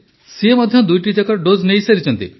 ସେ ମଧ୍ୟ ଦୁଇଟି ଯାକ ଡୋଜ ନେଇସାରିଛନ୍ତି